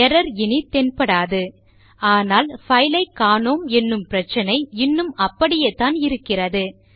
error இனி தென்படாது ஆனால் பைலைக்காணோம் என்னும் பிரச்சினை இன்னும் அப்படியேத்தான் இருக்கிறது